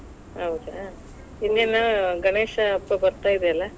ಹೌದಾ, ಇನ್ನೇನ ಗಣೇಶ ಹಬ್ಬ ಬತಾ೯ ಇದೆ ಅಲ್ಲಾ.